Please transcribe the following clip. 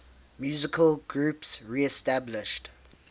musical groups reestablished